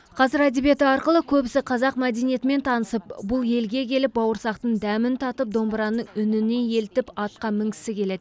қазір әдебиеті арқылы көбісі қазақ мәдениетімен танысып бұл елге келіп бауырсақтың дәмін татып домбыраның үніне елітіп атқа мінгісі келеді